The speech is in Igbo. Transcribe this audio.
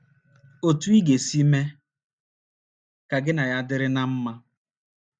Otú ị ga - esi mee ka gị na ya dịrị ná mma.